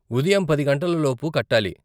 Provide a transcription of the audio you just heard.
ఉదయం పది గంటలలోపు కట్టాలి.